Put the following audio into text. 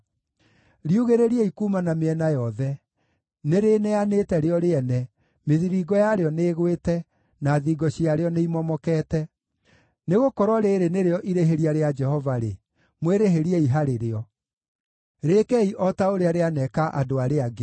Riugĩrĩriei kuuma na mĩena yothe! Nĩrĩĩneanĩte rĩo rĩene, mĩthiringo yarĩo nĩĩgwĩte, na thingo ciarĩo nĩimomokete. Nĩgũkorwo rĩĩrĩ nĩrĩo irĩhĩria rĩa Jehova-rĩ, mwĩrĩhĩriei harĩ rĩo; rĩĩkei o ta ũrĩa rĩaneeka andũ arĩa angĩ.